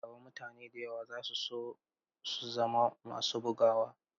A nan gaba mutane da yawa za su so su zama masu bugawa.